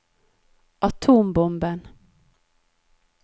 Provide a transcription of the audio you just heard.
atombomben